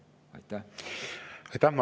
Aitäh!